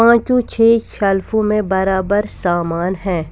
पांचों छह शेल्फों में बराबर सामान हैं.